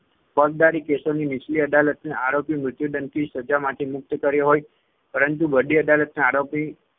ફોજદારી કેસોની નીચલી અદાલતના આરોપી મૃત્યુદંડની સજા માટે મુક્ત કર્યો હોય પરંતુ વડી અદાલતના આરોપી